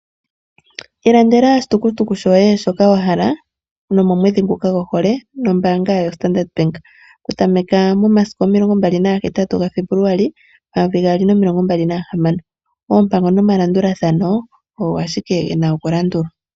Ilandela oshitukutuku shoye shoka wa hala nomomwedhi nguka gohole nombaanga yoStandard Bank oku tameka mo masiku 28 gaFebuluali 2026. Oompango nomalandulathano ogo ashike ge na okulandulwa.